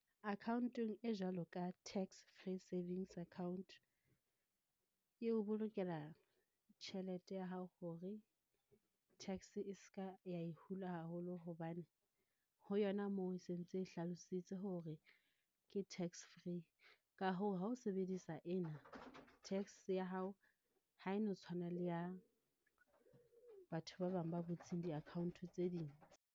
Account-ong e jwalo ka tax free savings account. E o bolokela tjhelete ya hao hore tax e ska ya e hula haholo hobane, ho yona moo e sentse e hlalositse hore ke tax free. Ka hoo, ha o sebedisa ena, tax ya hao ha e no tshwana le ya batho ba bang ba butseng di-account tse ding.